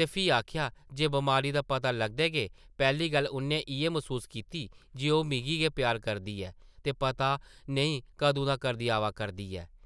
ते फ्ही आखेआ जे बमारी दा पता लगदे गै पैह्ली गल्ल उʼन्नै इʼयै मसूस कीती जे ओह् मिगी गै प्यार करदी ऐ ते पता नेईं कदूं दा करदी आवा करदी ऐ ।’’